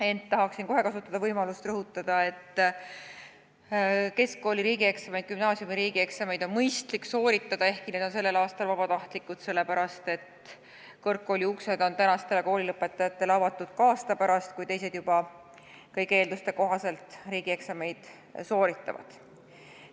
Ent tahaksin kohe kasutada võimalust rõhutada, et gümnaasiumi riigieksamid on mõistlik ikkagi sooritada, ehkki need on sellel aastal vabatahtlikud – seda sellepärast, et kõrgkooli uksed on tänastele koolilõpetajatele avatud ka aasta pärast, kui teised juba kõigi eelduste kohaselt riigieksameid sooritavad.